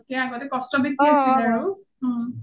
আগতকে আগতে কষ্ট বেছি আছিল আৰু